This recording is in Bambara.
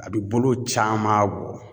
A bi bolo caman bɔ